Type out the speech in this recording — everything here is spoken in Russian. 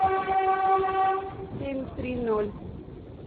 семь три ноль